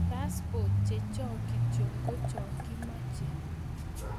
Passport chechok kityo ko chokokimache